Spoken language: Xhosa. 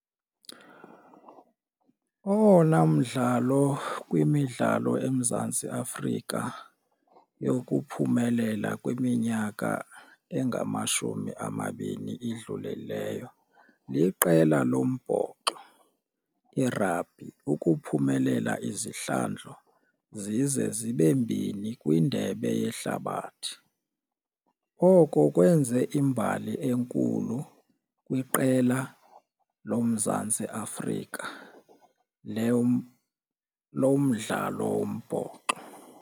Owona mdlalo kwimidlalo eMzantsi Afrika yokuphumelela kwiminyaka engamashumi amabini idlulileyo liqela lombhoxo i-rugby, ukuphumelela izihlandlo zize zibe mbini kwindebe yehlabathi. Oko kwenze imbali enkulu kwiqela loMzantsi Afrika lomdlalo wombhoxo.